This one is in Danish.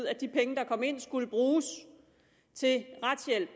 at de penge der kom ind skulle bruges til retshjælp